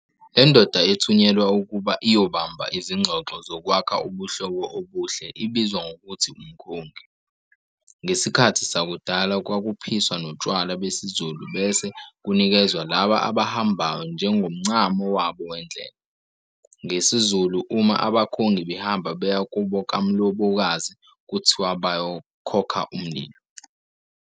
Le ndoda ethunyelwa ukuba iyobamba izingxoxo zokwakha ubuhlobo obuhle ibizwa ngokuthi "umkhongi". Ngesikhathi sakudala kwakuphiswa notshwala besizulu bese kunikezwa laba abahambayo njengomncamo wabo wendlela. NgesiZulu, uma abakhongi behamba beya kubo kamlobokazi kuthiwa bayo 'kokha umlilo'.